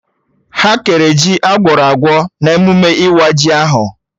Ha kere ji Agwọrọ agwọ na emụme ịwa ji ahụ